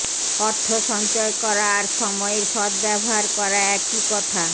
অর্থ সঞ্চয় করা আর সময়ের সদ্ব্যবহার করা একই কথা